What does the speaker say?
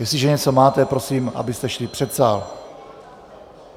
Jestliže něco máte, prosím, abyste šli před sál.